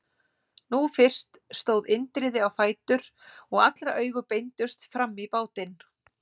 Nú fyrst stóð Indriði á fætur og allra augu beindust fram í bátinn.